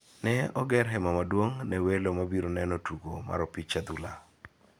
Ne oger hema maduong' ne welo mabiro neno tugo mar opich adhula.